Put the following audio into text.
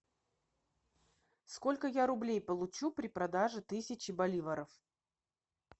сколько я рублей получу при продаже тысячи боливаров